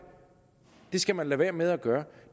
det skal man lade være med at gøre